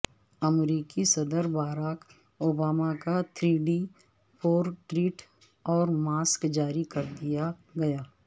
امریکی صدرباراک اوباما کا تھری ڈی پورٹریٹ اور ماسک جاری کر دیا گیا